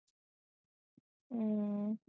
ਹੂ